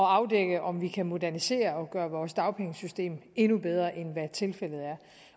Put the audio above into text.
afdække om vi kan modernisere og gøre vores dagpengesystem endnu bedre end hvad tilfældet er